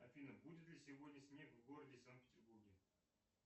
афина будет ли сегодня снег в городе санкт петербурге